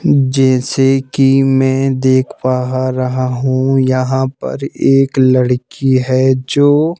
जैसे कि मैं देख पाहा रहा हूं यहां पर एक लड़की है जो--